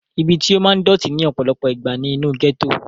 ibi tí ó máa ń dọ̀tí ní ọ̀pọ̀lọpọ̀ ìgbà ni inú gẹ́tò